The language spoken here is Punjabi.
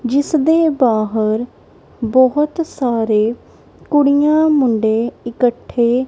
ਜਿੱਸ ਦੇ ਬਾਹਰ ਬਹੁਤ ਸਾਰੇ ਕੁੜੀਆਂ ਮੁੰਡੇ ਇਕੱਠੇ--